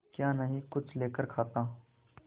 क्या नहीं कुछ लेकर खाता